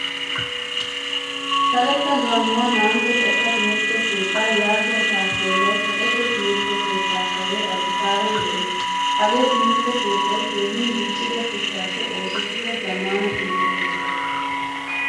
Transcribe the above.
Karetta gaamuwaa naa'antto xekka timirtte keetta yaagiya tappelay kaqqetto timirtte keetta kare addisaban de'ees. Hagee timirtte keettay keehin diccida shuchchappe oosettida zamaana timirtte keettaa.